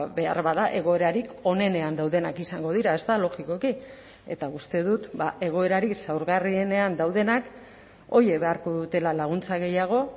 beharbada egoerarik onenean daudenak izango dira ezta logikoki eta uste dut egoerari zaurgarrienean daudenak horiek beharko dutela laguntza gehiago